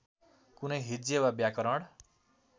कुनै हिज्जे वा व्याकरण